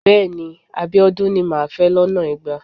Bẹ́ẹ̀ni. Abíọ́dún ni màá fẹ́ lọ́nà igba.